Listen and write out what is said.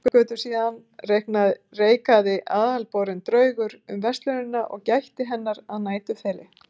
Allar götur síðan reikaði aðalborinn draugur um verslunina og gætti hennar að næturþeli.